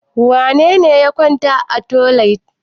Wane ne ya kwana a otel?